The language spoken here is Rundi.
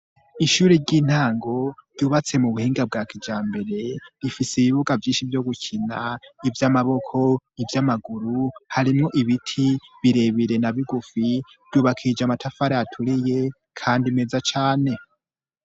Ishuri ry'intango ryubatse mu buhinga bwa kijambere rifise ibibuga vyinshi vyo gukina. Ivy'amaboko, ivy'amaguru, harimo ibiti birebere na bigufi vyubakije amatafari aturiye kandi meza cane.